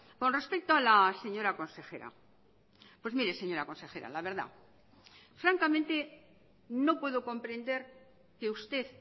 con respecto a la señora consejera pues mire señora consejera la verdad francamente no puedo comprender que usted